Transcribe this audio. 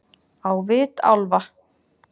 Á vit álfa-